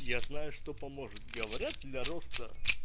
я знаю что поможет говорят для роста